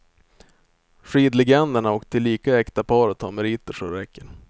Skidlegenderna och tillika äkta paret har meriter så det räcker.